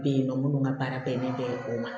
Bɛ yen nɔ minnu ka baara bɛnnen bɛ o ma